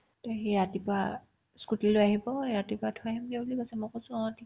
to সি ৰাতিপুৱা scooty লৈ আহিব সি ৰাতিপুৱা থৈ আহিমগে বুলি কৈছে মই কৈছো অ ঠিক